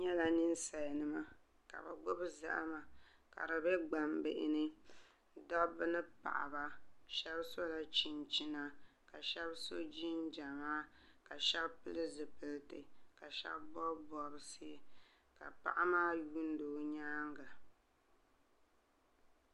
N nyɛla ninsal nima ka bi gbubi zahama ka di bɛ gbambihi ni dabba ni paɣaba shab sola chinchina ka shab so jinjɛma ka shab pili zipiliti ka shab bob bobsi ka paɣa maa yuundi o nyaanga